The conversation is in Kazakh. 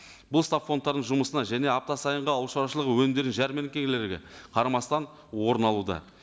бұл стабфондтардың жұмысына және апта сайынғы ауыл шаруашылығы өнімдерінің жәрменкелерге қарамастан орын алуда